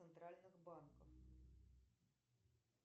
центральных банков